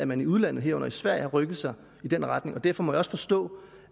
man i udlandet herunder i sverige har rykket sig i den retning og derfor må jeg også forstå